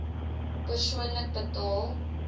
persoonlik betaal